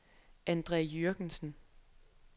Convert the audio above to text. Andre Jürgensen